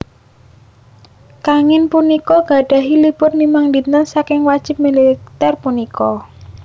Kangin punika gadhahi libur limang dinten saking wajib militer punika